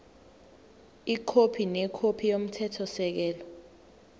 ikhophi nekhophi yomthethosisekelo